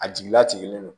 A jigilatigi do